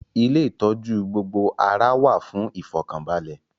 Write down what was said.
Ilé ìtọ́jú gbogbo ara wà fún ìfọ̀kànbalẹ̀